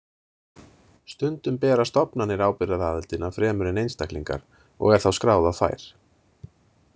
Stundum bera stofnanir ábyrgðaraðildina fremur en einstaklingar og er þá skráð á þær.